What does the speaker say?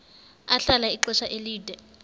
ahlala ixesha elide